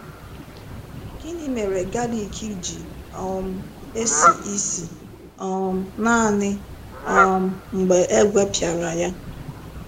Gịnị mere galik ji um esi ísì um naanị um mgbe e gwepịara ya?